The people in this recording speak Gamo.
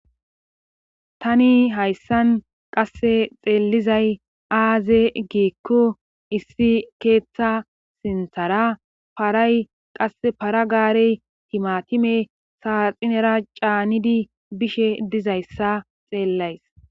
tani hayssan qasse xeellizay aaze giikku issi keeththa sinthara paray qass para gaarey timatime saaxinera caanidi bishe dizayssa xeellays